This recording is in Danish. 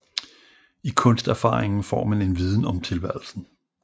I kunsterfaringen får man en viden om tilværelsen